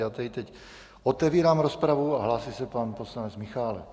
Já tedy teď otevírám rozpravu a hlásí se pan poslanec Michálek.